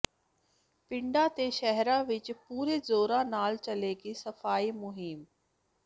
ਪਿੰਡਾਂ ਤੇ ਸ਼ਹਿਰਾਂ ਵਿਚ ਪੂਰੇ ਜ਼ੋਰਾਂ ਨਾਲ ਚੱਲੇਗੀ ਸਫਾਈ ਮੁਹਿੰਮ